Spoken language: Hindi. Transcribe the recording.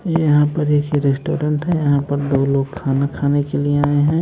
यहां पर एक रेस्टोरेंट है यहां पर दो लोग खाना खाने के लिए आए हैं।